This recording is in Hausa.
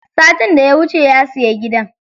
Satin daya wuce ya siya gidan.